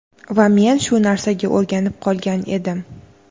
va men shu narsaga o‘rganib qolgan edim.